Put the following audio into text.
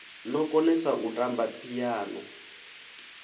no konesa u tamba phiano